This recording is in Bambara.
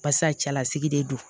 Barisa cɛlasigi de don